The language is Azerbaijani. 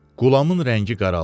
Qulamın rəngi qaraldı.